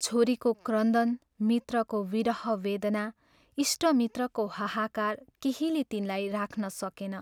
छोरीको क्रन्दन, मित्रको विरह वेदना, इष्टमित्रको हाहाकार केहीले तिनलाई राख्न सकेन।